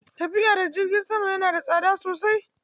Tafiya da jirgi sama yana da tsada sosai.